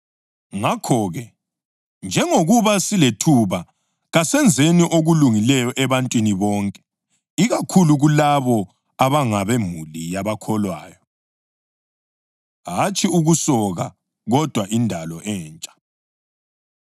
Ngakho-ke, njengokuba silethuba kasenzeni okulungileyo ebantwini bonke ikakhulu kulabo abangabemuli yabakholwayo. Hatshi Ukusoka Kodwa Indalo Entsha